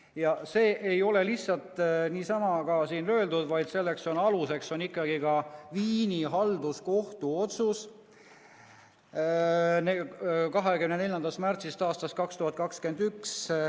Ja see ei ole lihtsalt niisama öeldud, vaid selle aluseks on ikkagi Viini halduskohtu otsus 24. märtsist aastast 2021.